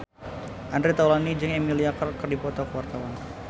Andre Taulany jeung Emilia Clarke keur dipoto ku wartawan